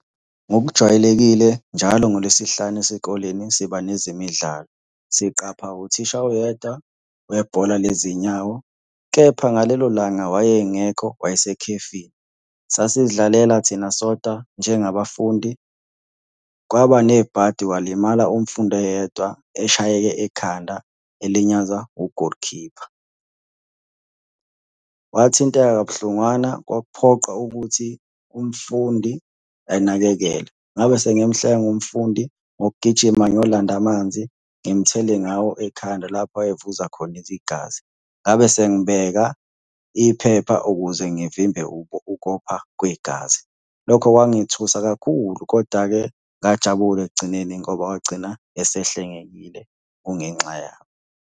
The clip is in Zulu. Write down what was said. Ngokujwayelekile njalo ngolwesihlanu esikoleni siba nezemidlalo. Siqapha uthisha oyedwa webhola lezinyawo, kepha ngalelo langa wayengekho, wayesekhefini. Sasizidlalela thina sodwa njengabafundi, kwaba nebhadi walimala umfundi oyedwa eshayeke ekhanda elinyazwa ugolikhipha. Wathinteka kabuhlungwana kwaphoqa ukuthi umfundi anakekelwe. Ngabe sengimuhlenga umfundi ngokugijima ngiyolanda amanzi ngimuthele ngawo ekhanda lapho ayevuza khona igazi. Ngabe sengibeka iphephe ukuze ngivimbe ukopha kwegazi. Lokho kwangithusa kakhulu, koda-ke ngajabula ekugcineni ngoba wagcina esehlengekile kungenxa yami.